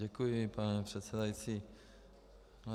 Děkuji, pane předsedající.